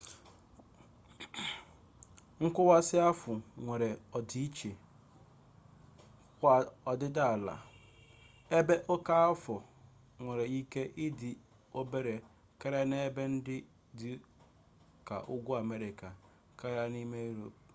nkọwasị ahụ nwere ọdịiche kwa ọdịdị ala ebe oke afọ nwere ike ịdị obere karịa n'ebe ndị dị ka ugwu amerịka karịa n'ime yurop